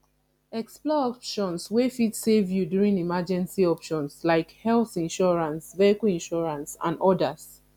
explore options wey fit save you during emergency options like health insurance vehicle insurance and odas